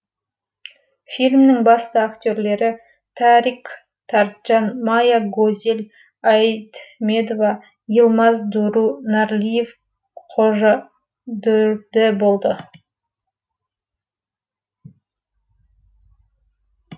фильмнің басты актерлері тарик тарджан мая гозель айдмедова йылмаз дуру нарлиев қожа дүрді болды